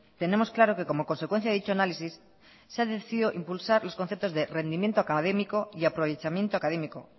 tenemos claro que como consecuencia de dicho análisis se ha decidido impulsar los conceptos de rendimiento académico y aprovechamiento académico